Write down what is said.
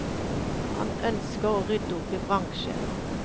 Han ønsker å rydde opp i bransjen.